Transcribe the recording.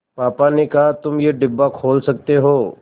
पापा ने कहा तुम ये डिब्बा खोल सकते हो